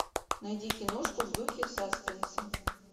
найди киношку в духе саспенса